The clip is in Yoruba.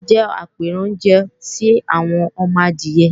àsá jẹ́ apẹranjẹ sí àwọn ọmọ adìyẹ